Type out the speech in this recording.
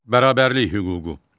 Bərabərlik hüququ.